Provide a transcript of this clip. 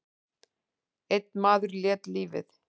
Einn maður lét lífið.